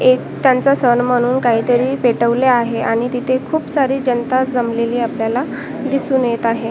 एक त्यांचा सण म्हणून काहीतरी पेटवले आहे आणि तिथे खूप सारी जनता जमलेली आपल्याला दिसून येत आहे.